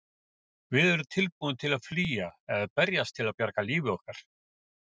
Við erum tilbúin til að flýja eða berjast til að bjarga lífi okkar.